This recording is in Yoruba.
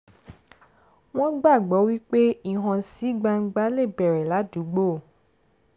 wọ́n gbàgbọ́ wípé ìhànsígbangba lè bẹ̀rẹ̀ ládùúgbò